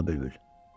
Şeyda bülbül.